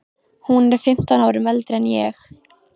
Hún er fimmtán árum eldri en ég.